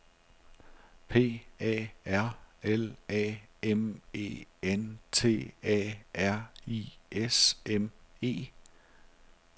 P A R L A M E N T A R I S M E